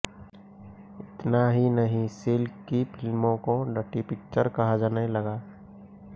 इतना ही नहीं सिल्क की फिल्मों को डर्टी पिक्चर कहा जाने लगा